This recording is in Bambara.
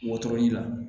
Wotoro la